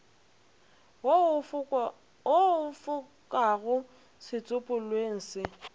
wo o fokago setsopolweng se